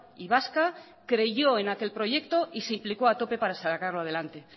y vasca creyó en aquel proyecto y se implicó a tope para sacarlo adelante